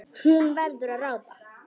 Hún verður að ráða.